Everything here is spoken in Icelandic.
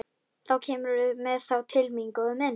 Þá kemurðu með þá til mín, góði minn.